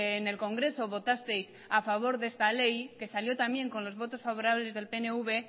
en el congreso votasteis a favor de esta ley que salió también con los votos favorables del pnv